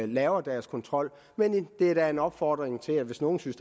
laver deres kontrol men det er da en opfordring til hvis nogen synes